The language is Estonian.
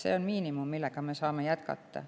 See on miinimum, millega me saame jätkata.